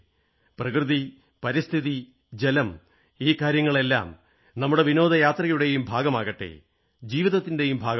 പ്രകൃതി പരിസ്ഥിതി ജലം ഈ കാര്യങ്ങളെല്ലാം നമ്മുടെ വിനോദയാത്രയുടെയും ഭാഗമാകട്ടെ ജീവിതത്തിന്റെയും ഭാഗമാകട്ടെ